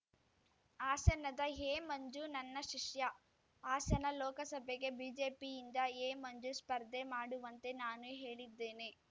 ಹಾಸನದ ಎಮಂಜು ನನ್ನ ಶಿಷ್ಯ ಹಾಸನ ಲೋಕಸಭೆಗೆ ಬಿಜೆಪಿಯಿಂದ ಎಮಂಜು ಸ್ಪರ್ಧೆ ಮಾಡುವಂತೆ ನಾನು ಹೇಳಿದ್ದೇನೆ